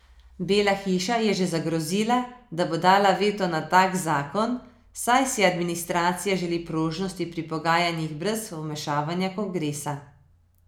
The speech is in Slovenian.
Bela hiša je že zagrozila, da bo dala veto na tak zakon, saj si administracija želi prožnosti pri pogajanjih brez vmešavanja kongresa.